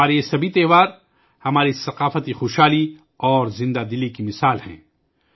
ہمارے یہ تمام تہوار ہماری مالا مال ثقافت اور بھر پور زندگی کے مترادف ہیں